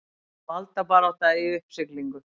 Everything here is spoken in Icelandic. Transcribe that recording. Valdabarátta í uppsiglingu